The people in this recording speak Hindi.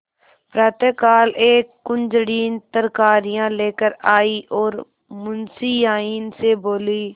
प्रातःकाल एक कुंजड़िन तरकारियॉँ लेकर आयी और मुंशियाइन से बोली